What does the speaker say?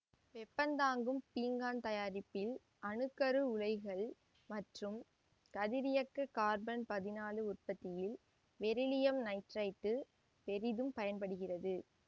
வெப்பந்தாங்கும் பீங்கான் தயாரிப்பில் அணு கரு உலைகளில் மற்றும் கதிரியக்கக் கார்பன் பதினாலு உற்பத்தியில் பெரிலியம் நைட்ரைடு பெரிதும் பயன்படுகிறது